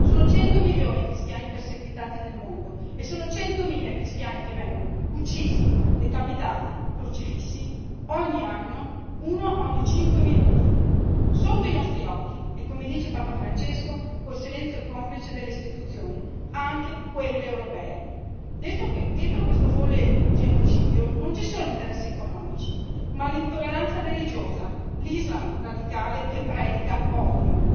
Sono 100 milioni i cristiani perseguitati nel mondo e sono centomila i cristiani che vengono uccisi, decapitati, crocifissi ogni anno, uno ogni cinque minuti, sotto i nostri occhi e, come dice Papa Francesco, con il silenzio complice delle istituzioni anche quelle europee. Dietro questo folle genocidio non ci sono interessi economici ma l'intolleranza religiosa, l'Islam radicale che predica odio.